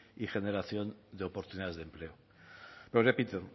y generación de oportunidades de empleo lo repito